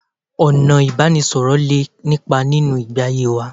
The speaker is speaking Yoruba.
Ọ̀nà ìbánisọ̀rọ̀ lé nípa nínú ìgbé ayé wa